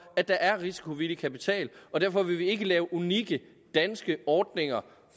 at der er risikovillig kapital og derfor vil vi ikke lave unikke danske ordninger